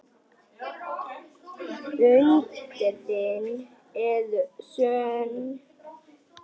Undrin eru sönn.